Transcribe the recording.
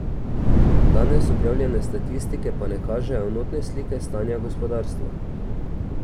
Danes objavljene statistike pa ne kažejo enotne slike stanja gospodarstva.